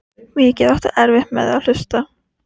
Mikið áttu erfitt með að hlusta.